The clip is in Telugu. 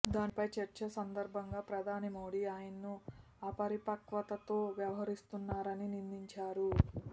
దానిపై చర్చ సందర్భంగా ప్రధాని మోడీ ఆయనను అపరిపక్వతతో వ్యవహరిస్తున్నారని నిందించారు